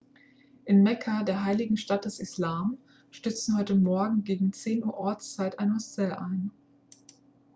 in mekka der heiligen stadt des islam stürzte heute morgen gegen 10 uhr ortszeit ein hostel ein